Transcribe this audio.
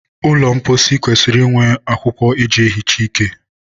ụlọ mposi kwesịrị inwe akwụkwọ e ji ehicha ike.